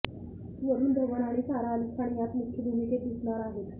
वरुण धवन आणि सारा अली खान यात मुख्य भूमिकेत दिसणार आहेत